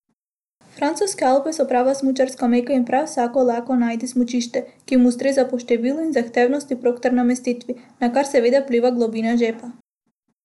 Francoske Alpe so prava smučarska meka in prav vsak lahko najde smučišče, ki mu ustreza po številu in zahtevnosti prog ter namestitvi, na kar seveda vpliva globina žepa.